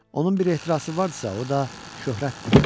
Onun bir ehtirası varsa, o da şöhrətdir.